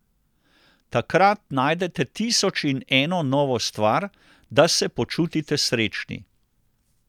Takrat najdete tisoč in eno novo stvar, da se počutite srečni!